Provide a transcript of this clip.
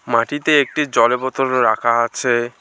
মাটিতে একটি জলের বোতল রাখা আছে।